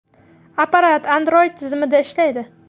Apparat Android tizimida ishlaydi.